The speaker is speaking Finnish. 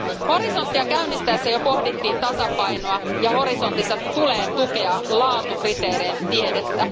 Horisonttia käynnistäessä jo pohdittiin tasapainoa, ja Horisontissa tulee tukea laatukriteerein tiedettä.